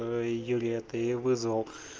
юлия это я вызвал